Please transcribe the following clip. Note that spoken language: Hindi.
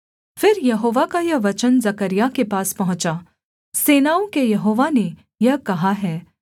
फिर यहोवा का यह वचन जकर्याह के पास पहुँचा सेनाओं के यहोवा ने यह कहा है